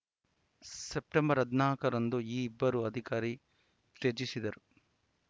September ಹದಿನಾಕರಂದು ಈ ಇಬ್ಬರು ಅಧಿಕಾರಿ ತ್ಯಜಿಸಿದ್ದರು